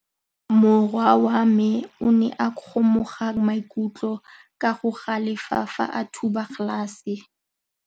Morwa wa me o ne a kgomoga maikutlo ka go galefa fa a thuba galase.